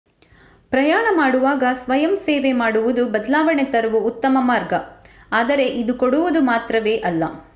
ಪ್ರಯಾಣ ಮಾಡುವಾಗ ಸ್ವಯಂಸೇವೆ ಮಾಡುವುದು ಬದಲಾವಣೆ ತರುವ ಉತ್ತಮ ಮಾರ್ಗ ಆದರೆ ಇದು ಕೊಡುವುದು ಮಾತ್ರವೇ ಅಲ್ಲ